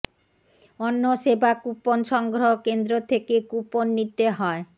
অন্ন সেবা কূপন সংগ্ৰহ কেন্দ্র থেকে কূপন নিতে হয়